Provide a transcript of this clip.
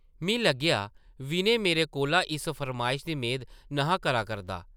मी लग्गेआ विनय मेरे कोला इस फरमाइश दी मेद न’हा करा करदा।